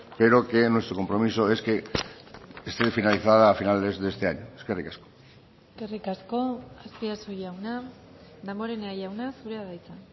pero que nuestro compromiso es que esté finalizada a finales de este año eskerrik asko eskerrik asko azpiazu jauna damborenea jauna zurea da hitza